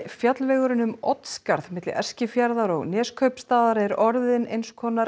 fjallvegurinn um Oddsskarð milli Eskifjarðar og Neskaupstaðar er orðinn eins konar